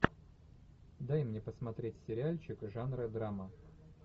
дай мне посмотреть сериальчик жанра драма